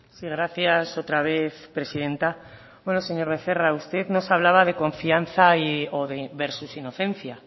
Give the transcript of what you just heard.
sí gracias otra vez presidenta bueno señor becerra usted nos hablaba de confianza o de versus inocencia